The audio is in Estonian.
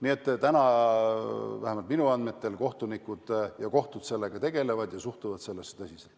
Ja praegu vähemalt minu andmetel kohtunikud ja kohtud sellega tegelevad ja suhtuvad teemasse tõsiselt.